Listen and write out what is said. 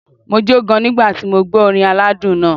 Mo jó gan nígbà tí mo gbọ́ orin aládùn náà.